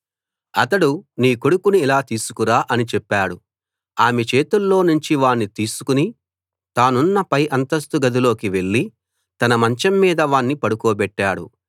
అతడు నీ కొడుకును ఇలా తీసుకురా అని చెప్పాడు ఆమె చేతుల్లో నుంచి వాణ్ణి తీసుకు తానున్న పై అంతస్తు గదిలోకి వెళ్లి తన మంచం మీద వాణ్ణి పడుకోబెట్టాడు